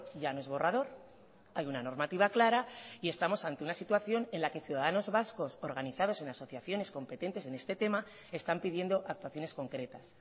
ya no es borrador hay una normativa clara y estamos ante una situación en la que ciudadanos vascos organizados en asociaciones competentes en este tema están pidiendo actuaciones concretas